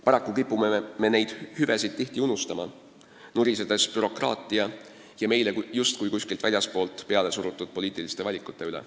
Paraku kipume me neid hüvesid tihti unustama, nurisedes bürokraatia ja meile justkui kuskilt väljastpoolt peale surutud poliitiliste valikute üle.